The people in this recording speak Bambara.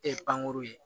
E ye pankuru ye